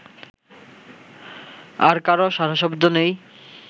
আর কারো সাড়াশব্দ নেই